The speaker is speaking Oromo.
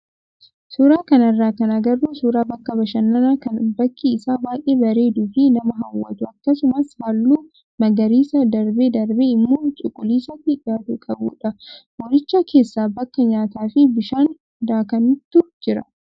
Suuraa kanarraa kan agarru suuraa bakka bashannanaa kan bakki isaa baay'ee bareeduu fi nama hawwatu akkasumas halluu magariisa darbee darbee immoo cuquliisatti dhiyaatu qabudha. Moorichi keessa bakka nyaataa fi bishaan daakantu jira.